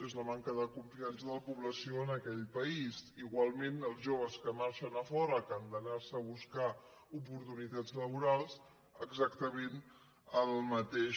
és la manca de confiança de la població en aquell país igualment els joves que marxen a fora que han d’anar se a buscar oportunitats laborals exactament el mateix